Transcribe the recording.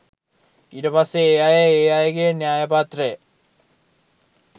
ඊට පස්සේ ඒ අය ඒ අයගේ න්‍යාය පත්‍රය